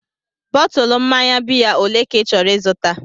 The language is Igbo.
Bọtụlu mmanya biya olee ka ị chọrọ ịzụta?